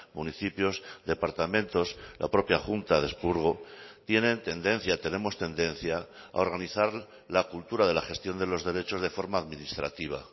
municipios departamentos la propia junta de expurgo tienen tendencia tenemos tendencia a organizar la cultura de la gestión de los derechos de forma administrativa